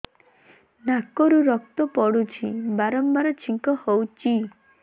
ନାକରୁ ରକ୍ତ ପଡୁଛି ବାରମ୍ବାର ଛିଙ୍କ ହଉଚି